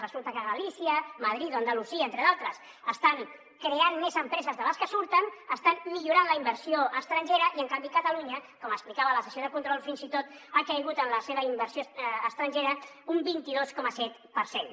resulta que galícia madrid o andalusia entre d’altres estan creant més empreses de les que surten estan millorant la inversió estrangera i en canvi catalunya com explicava a la sessió de control fins i tot ha caigut en la seva inversió estrangera un vint dos coma set per cent